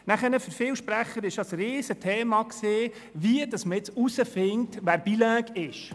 Für viele Sprecher ist es ein grosses Thema gewesen, wie man herausfinden solle, wer bilingue sei.